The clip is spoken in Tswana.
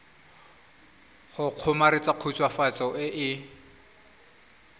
go kgomaretsa khutswafatso e e